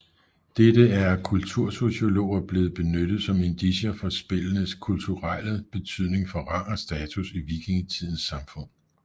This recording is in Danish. Dette er af kultursociologer blevet benyttet som indicier for spillenes kuturelle betydning for rang og status i vikingetidens samfund